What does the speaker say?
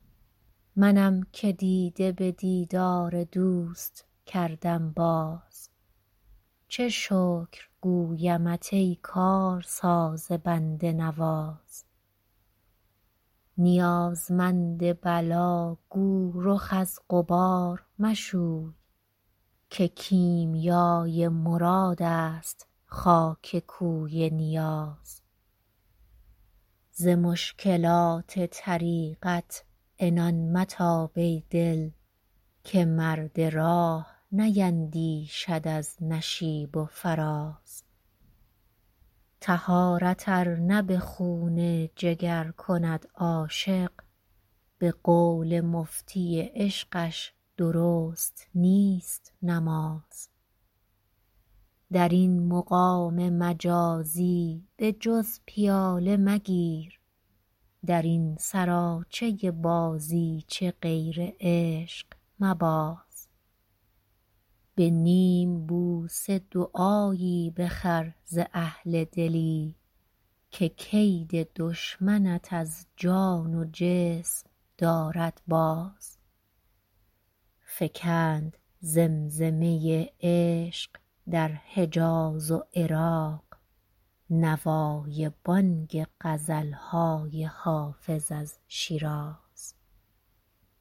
منم که دیده به دیدار دوست کردم باز چه شکر گویمت ای کارساز بنده نواز نیازمند بلا گو رخ از غبار مشوی که کیمیای مراد است خاک کوی نیاز ز مشکلات طریقت عنان متاب ای دل که مرد راه نیندیشد از نشیب و فراز طهارت ار نه به خون جگر کند عاشق به قول مفتی عشقش درست نیست نماز در این مقام مجازی به جز پیاله مگیر در این سراچه بازیچه غیر عشق مباز به نیم بوسه دعایی بخر ز اهل دلی که کید دشمنت از جان و جسم دارد باز فکند زمزمه عشق در حجاز و عراق نوای بانگ غزل های حافظ از شیراز